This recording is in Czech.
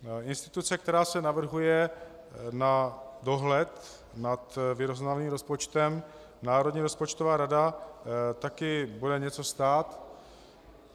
Instituce, která se navrhuje na dohled nad vyrovnaným rozpočtem, Národní rozpočtová rada, také bude něco stát.